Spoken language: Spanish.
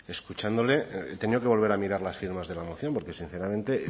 escuchándole he tenido que volver a mirar las firmas de la moción porque sinceramente